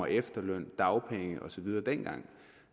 af efterløn dagpenge og så videre dengang